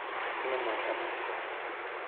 nĩmũohe moko